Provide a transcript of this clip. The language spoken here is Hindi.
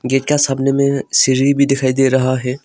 गेट के सामने में सीढ़ी भी दिखाई दे रहा है।